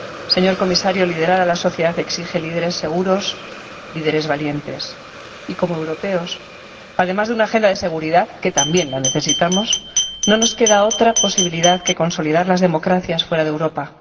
Señor Comisario, liderar la sociedad exige líderes seguros, líderes valientes y, como europeos, además de una Agenda de Seguridad —que también la necesitamos—, no nos queda otra posibilidad que consolidar las democracias fuera de Europa.